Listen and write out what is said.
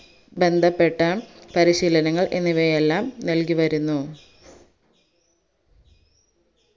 ബന്ധപ്പെട്ട പരിശീലനങ്ങൾ എന്നിവയെല്ലാം നൽകി വരുന്നു